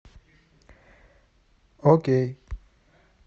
окей